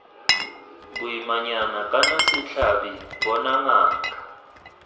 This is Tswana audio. boimanyana kana setlhabi bona ngaka